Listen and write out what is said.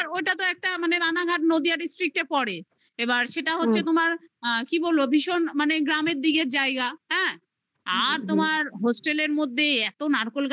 ওটা তো একটা মানে রানাঘাট নদিয়া district এ পড়ে এবার সেটা হচ্ছে তোমার আ কি বলবো ভীষণ মানে গ্রামের দিকের জায়গা হ্যাঁ আর তোমার hostel র মধ্যে এত নারকোল গাছ